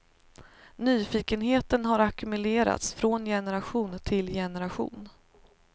Nyfikenheten har ackumulerats från generation till generation.